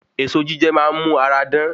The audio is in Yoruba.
Èso jíjẹ máa n mu ara dán